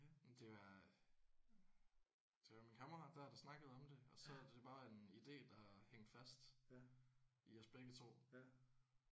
Ja. Jamen det var det var min kammerat der der snakkede om det og så er det bare en idé der har hængt fast i os begge to